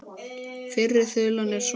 Fyrri þulan er svona